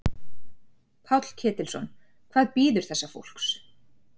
Páll Ketilsson: Hvað bíður þessa fólks?